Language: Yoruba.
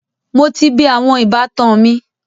Mo ti bẹẹ awọn “ìbátan” mi